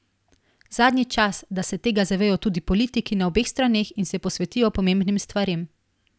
Zadnji čas, da se tega zavejo tudi politiki na obeh straneh in se posvetijo pomembnim stvarem.